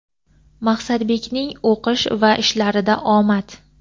Maqsadbekning o‘qish va ishlarida omad!.